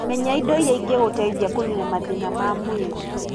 Menya indo iria igũgũteithia kũnina mathĩna ma mwĩrĩ